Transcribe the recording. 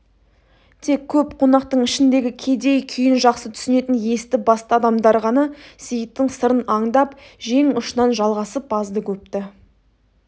тек көп қонақтың ішіндегі кедей күйін жақсы түсінетін есті-басты адамдар ғана сейіттің сырын аңдап жең ұшынан жалғасып азды-көпті